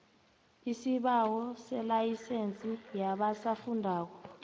isibawo selayisense yabasafundako